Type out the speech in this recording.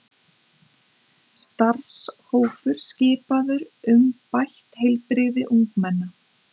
Starfshópur skipaður um bætt heilbrigði ungmenna